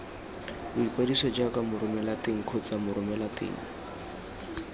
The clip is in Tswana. boikwadiso jaaka moromelateng kgotsa moromelateng